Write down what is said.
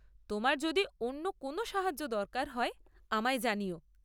তোমার যদি অন্য কোনও সাহায্য দরকার হয়, আমায় জানিও।